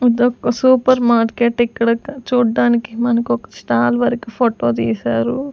ఇదొక్క super market ఇక్కడొక చూడ్డానికి మనకొక స్టాల్ వరకు ఫోటో తీశారు.